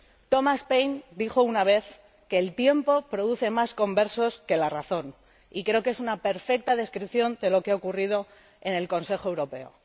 Thomas Paine dijo una vez que el tiempo produce más conversos que la razón, y creo que es una perfecta descripción de lo que ha ocurrido en el Consejo Europeo.